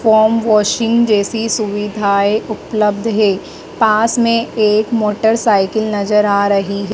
Foam washing जैसी सुविधाएं उपलब्ध है पास में एक मोटरसाइकिल नजर आ रही है।